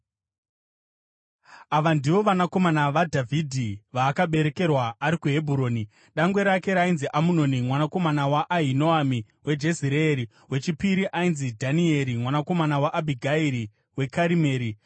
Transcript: Ava ndivo vanakomana vaDhavhidhi vaakaberekerwa ari kuHebhuroni: Dangwe rake rainzi Amunoni mwanakomana waAhinoami weJezireeri. Wechipiri ainzi Dhanieri, mwanakomana waAbhigairi weKarimeri;